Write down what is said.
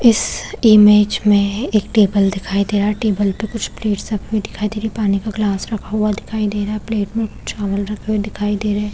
इस इमेज में एक टेबल दिखाई दे रहा है टेबल पे कुछ प्लैट्स रखी हुई दिखाई दे रही है पानी का गिलास रखा हुआ दिखाई दे रहा है प्लेट में कुछ चावल रखे हुए दिखाई दे रहे हैं ।